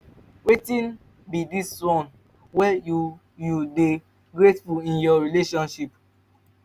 wetin be di one thing wey you you dey grateful in your relationship?